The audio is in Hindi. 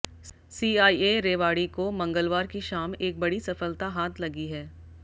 सीआईए रेवाड़ी को मंगलवार की शाम एक बड़ी सफलता हाथ लगी है